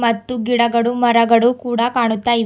ಮತ್ತು ಗಿಡಗಡು ಮರಗಡು ಕೂಡ ಕಾಣುತ್ತಾಇವೆ.